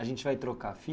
A gente vai trocar a